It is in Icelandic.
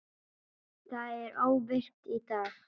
Það er óvirkt í dag.